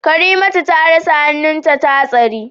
Karimatu ta rasa hannunta a hatsarin